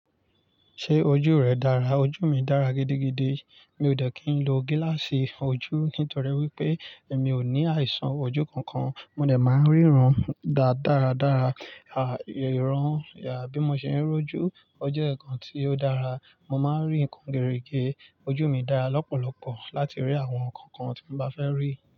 Ṣé ojú rẹ dára? Ojú mi dára gidigidi. Mi ò dẹ̀ kí n lo gíláàsì fun ojú, nítorí wípé emi ò ní àìsàn ojú kankan. Mò dẹ̀ máa ń ríran dáá daradára. À, ìran, à, bí mo ṣe ń rọ́jú ọjọ́ nkan tí ó dára, mo máa ń rí ǹkan gerige. Ojú mi dára lọ́pọ̀lọpọ̀ láti rí àwọn ǹkan kan tí mo bá fẹ́ rí.